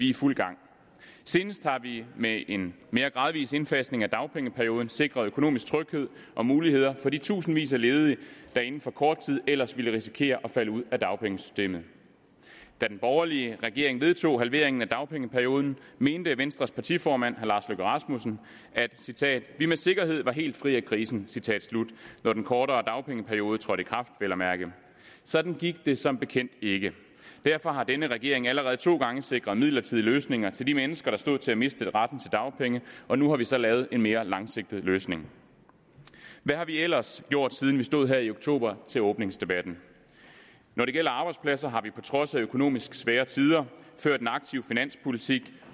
i fuld gang senest har vi med en mere gradvis indfasning af dagpengeperioden sikret økonomisk tryghed og muligheder for de tusindvis af ledige der inden for kort tid ellers ville risikere at falde ud af dagpengesystemet da den borgerlige regering vedtog halveringen af dagpengeperioden mente venstres partiformand herre lars løkke rasmussen at vi citat med sikkerhed var helt fri af krisen når den kortere dagpengeperiode trådte i kraft vel at mærke sådan gik det som bekendt ikke derfor har denne regering allerede to gange sikret midlertidige løsninger til de mennesker der stod til at miste retten til dagpenge og nu har vi så lavet en mere langsigtet løsning hvad har vi ellers gjort siden vi stod her i oktober til åbningsdebatten når det gælder arbejdspladser har vi på trods af økonomisk svære tider ført en aktiv finanspolitik